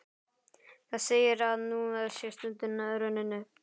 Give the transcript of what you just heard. Það segir, að nú sé stundin runnin upp.